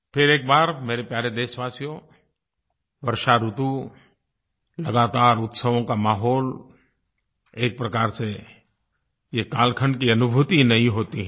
फिर एक बार मेरे प्यारे देशवासियो वर्षा ऋतु लगातार उत्सवों का माहौल एक प्रकार से ये कालखंड की अनुभूति ही नयी होती है